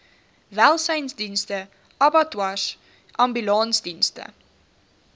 welsynsdienste abattoirs ambulansdienste